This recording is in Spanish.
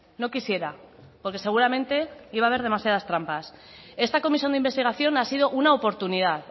no quisiera porque seguramente iba a haber demasiadas trampas esta comisión de investigación ha sido una oportunidad